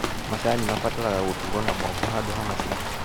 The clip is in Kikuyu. Macani mabataraga gũtuo na moko handũ wa macini.